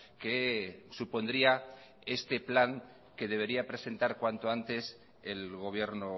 que supondría este plan que debería presentar cuanto antes el gobierno